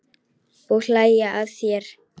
Og hlæja að þér.